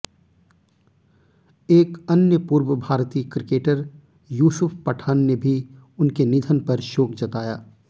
एक अन्य पूर्व भारतीय क्रिकेटर यूसुफ पठान ने भी उनके निधन पर शोक जताया